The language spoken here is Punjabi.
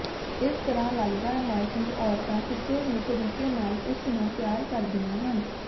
ਇਸ ਤਰ੍ਹਾਂ ਲੱਗਦਾ ਹੈ ਕਿ ਔਰਤਾਂ ਕਿਸੇ ਵੀ ਤਰੀਕੇ ਨਾਲ ਉਸ ਨੂੰ ਪਿਆਰ ਕਰਦੀਆਂ ਹਨ